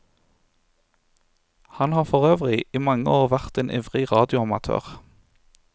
Han har forøvrig i mange år vært en ivrig radioamatør.